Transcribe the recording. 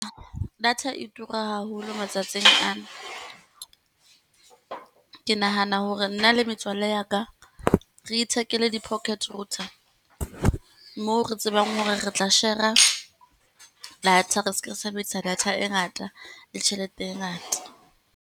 Data e tura haholo matsatsing ana. Ke nahana hore nna le metswalle ya ka re ithekele di-pocket router, moo re tsebang hore re tla shera, data re seke ra sebedisa data e ngata le tjhelete e ngata.